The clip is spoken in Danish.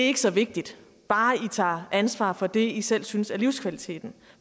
er så vigtige bare de tager ansvar for det de selv synes er livskvalitet